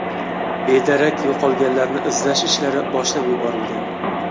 Bedarak yo‘qolganlarni izlash ishlari boshlab yuborilgan.